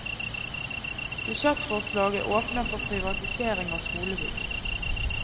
Budsjettforslaget åpner for privatisering av skolebygg.